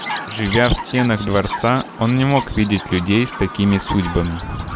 живя в стенах дворца он не мог видеть людей с такими судьбами